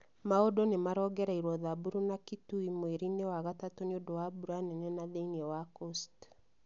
Mau͂ndu͂ ni͂ marongereirio Samburu na Kitui mweri-ini͂ wa gatatu͂ ni͂ u͂ndu͂ wa mbura nene na thi͂ini͂ wa coast.